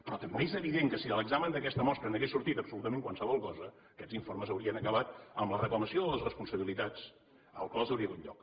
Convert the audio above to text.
però també és evident que si de l’examen d’aquesta mostra n’hagués sortit absolutament qualsevol cosa aquests informes haurien acabat amb la reclamació de les responsabilitats a les quals hi hauria hagut lloc